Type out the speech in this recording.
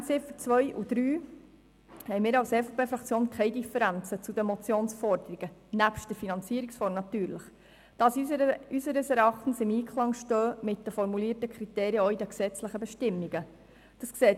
Betreffend die Ziffern 2 und 3 haben wir keine Differenzen zu den Motionsforderungen, natürlich mit Ausnahme der Finanzierungsform, da diese unseres Erachtens mit den formulierten Kriterien in den gesetzlichen Bestimmungen im Einklang stehen muss.